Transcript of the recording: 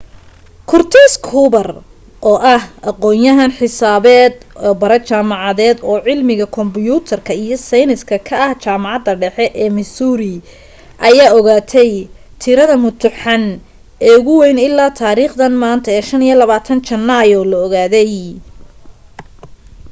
curtis cooper oo ah aqoonyahan xisaabeed oo bare jaamacadeed oo cilmiga kombiyuutarka iyo seeyniska ka ah jaamacadda dhexe ee missouri ayaa ogaatay tirade mutuxan ee ugu way ilaa taariikhdan maanta ee 25 janaayo la ogaaday